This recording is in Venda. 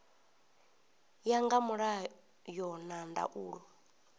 ya nga mulayo na ndaulo